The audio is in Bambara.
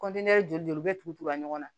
kɔntiniye joli be tugu tugu ɲɔgɔn na